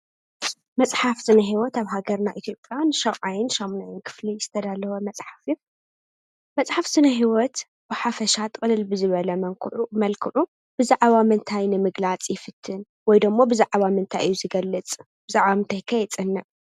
መፅሓፍ ስነ ህይወት አብ ሃገርና ኢትዮጵያ ን ሻውዓይን ንሻምናይን ኽፍሊ ዝተዳለወ መፅሓፍ እዩ። መፅሓፍ ስነህይወት ብሓፈሻ ጥቅልል ብዝበለ መልኽዑ ብዛዕባ ምንታይ ንምግላፅ ይፍትን ወይ ደሞ ብዛዕባ እንታይ እዩ ዝገልፅ? ብዛዕባ እንታይ ከ የፅንዕ ?